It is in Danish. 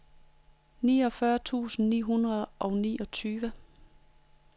niogfyrre tusind ni hundrede og niogtyve